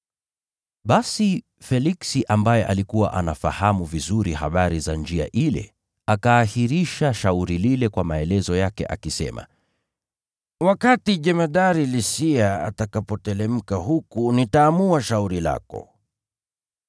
Basi Feliksi ambaye alikuwa anafahamu vizuri habari za Njia ile, akaahirisha shauri lile kwa maelezo yake akisema, “Wakati jemadari Lisia atakapoteremka huku, nitaamua shauri lako.”